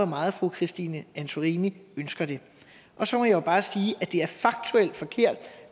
meget fru christine antorini ønsker det og så må jeg bare sige at det er faktuelt forkert